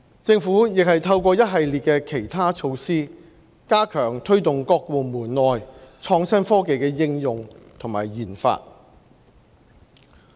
政府亦透過一系列其他措施，加強推動各部門內創新科技的應用和研發。